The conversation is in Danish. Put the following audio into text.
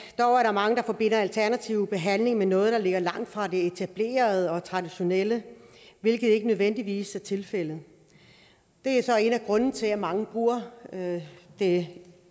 mange der forbinder alternativ behandling med noget der ligger langt fra det etablerede og traditionelle hvilket ikke nødvendigvis er tilfældet det er så en af grundene til at mange bruger det det